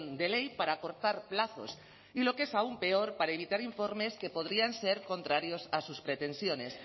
de ley para acortar plazos y lo que es aún peor para evitar informes que podrían ser contrarios a sus pretensiones